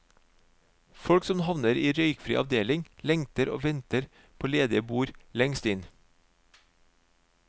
Folk som havner i røykfri avdeling lengter og venter på ledige bord lengst inn.